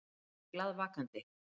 Ég er glaðvakandi.